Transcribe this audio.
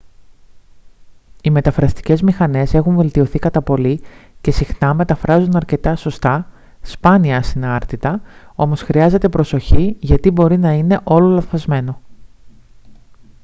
οι μεταφραστικές μηχανές έχουν βελτιωθεί κατά πολύ και συχνά μεταφράζουν αρκετά σωστά σπάνια ασυνάρτητα όμως χρειάζεται προσοχή γιατί μπορεί να είναι όλο λανθασμένο